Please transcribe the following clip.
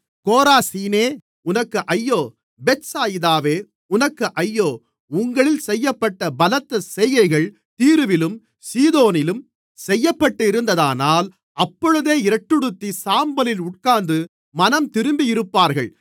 கோராசீனே உனக்கு ஐயோ பெத்சாயிதாவே உனக்கு ஐயோ உங்களில் செய்யப்பட்ட பலத்த செய்கைகள் தீருவிலும் சீதோனிலும் செய்யப்பட்டிருந்ததானால் அப்பொழுதே இரட்டுடுத்திச் சாம்பலில் உட்கார்ந்து மனந்திரும்பியிருப்பார்கள்